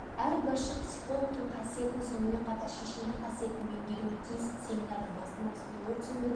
әр басшы психологтың қасиетін сонымен қатар шешендік қасиетін меңгеруі тиіс семинардың басты мақсаты өрт сөндіру